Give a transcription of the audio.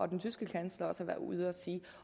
den tyske kansler har været ude at sige